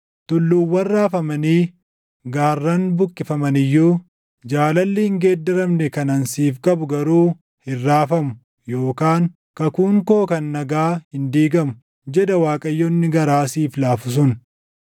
Tulluuwwan raafamanii, gaarran buqqifaman iyyuu, jaalalli hin geeddaramne kan ani siif qabu garuu hin raafamu; yookaan kakuun koo kan nagaa hin diigamu” jedha Waaqayyo inni garaa siif laafu sun.